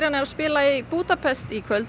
er að spila í Búdapest í kvöld